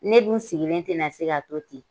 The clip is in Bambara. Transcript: Ne dun sigilen tena se ka to ten